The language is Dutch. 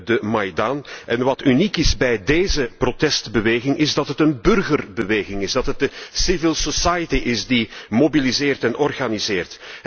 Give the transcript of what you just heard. de Maidan en wat uniek is bij deze protestbeweging is dat het een burgerbeweging is, dat het de civil society is die mobiliseert en organiseert.